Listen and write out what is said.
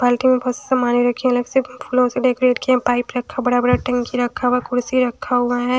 बाल्टी में बहोत समाने रखी अलग से फूलों से डेकोरेट किए पाइप रखा बड़ा-बड़ा टंकी रखा हुआ कुर्सी रखा हुआ हैं।